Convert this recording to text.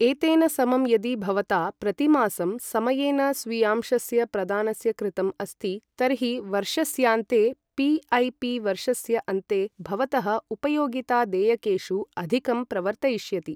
एतेन समं, यदि भवता प्रतिमासं समयेन स्वीयांशस्य प्रदानस्य कृतम् अस्ति तर्हि वर्षस्यान्ते पी.ऐ.पी वर्षस्य अन्ते भवतः उपयोगितादेयकेषु अधिकं प्रवर्तयिष्यति।